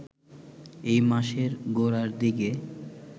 এ মাসের গোড়ার দিকে